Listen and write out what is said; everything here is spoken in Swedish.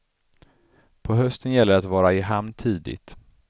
På hösten gäller det att vara i hamn tidigt.